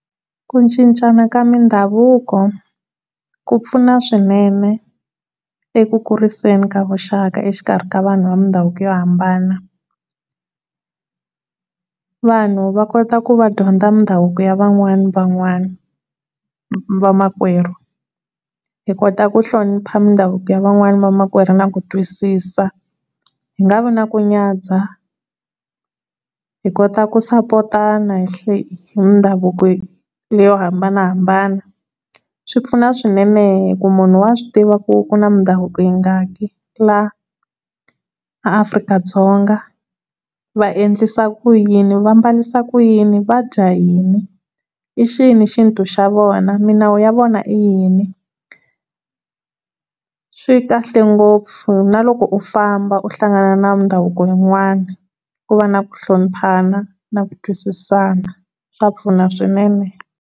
Ku cincana ka mindhavuko ku pfuna swinene eku kuriseni ka vuxaka exikarhi ka vanhu va mindhavuko yo hambana. Vanhu va kota ku va dyondza ndhavuko ya van'wana na van'wana va makwerhu hi kota ku hlonipha midhavuko ya van'wana va makwerhuna na ku twisisa hi nga vi na ku nyadzha. Hi kota ku support-tana hi hle, hi midhavuko yo hambanahambana swipfuna swinene hi ku munhu wa swi tiva ku ku na mindhavuko yi nga ki laha Afrika-Dzonga vaendlisa ku yini vambalisa ku yini vadya yini i xini xintu xa vona milawu ya vona i yini swikahle ngopfu na loko u famba u hlangana na mindhavuko min'wana ku va naku hloniphana na ku twisisaka swa pfuna swinene.